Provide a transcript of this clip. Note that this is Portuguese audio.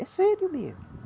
É sério mesmo.